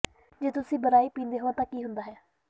ਜੇ ਤੁਸੀਂ ਬਰਾਈ ਪੀਂਦੇ ਹੋ ਤਾਂ ਕੀ ਹੁੰਦਾ ਹੈ